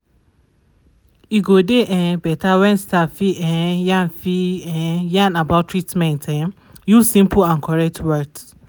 e go dey um beta wen staff fit um yarn fit um yarn about treatment um use simple and correct words.